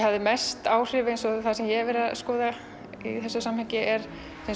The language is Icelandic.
mest áhrif á það sem ég hef verið að skoða í þessu samhengi eru